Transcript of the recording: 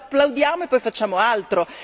Oppure lo applaudiamo e poi facciamo altro.